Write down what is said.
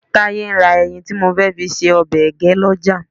Táyé ń ra ẹyìn tí mo fẹ́ fi ṣe ọbẹ̀ ẹgẹ́ lọ́jà